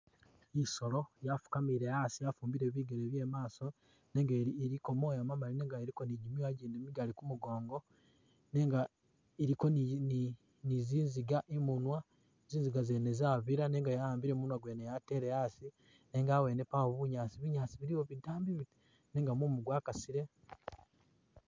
I'solo yafukamile asi yafumbike bigele bye i'maaso nenga ili iliko moya mamali nenga iliko ni gimyooya gyindi migali ku mugongo nenga iliko ni ni zizinga i'munwa, zinziga zene zabila nenga ya'ambile munwa gwene yatele asi nenga abwene pawo bunyaasi, binyaasi biliwo bitambi biti nenga mumu gwakasile.